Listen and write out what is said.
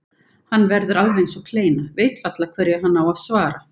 Hann verður alveg eins og kleina, veit varla hverju hann á að svara.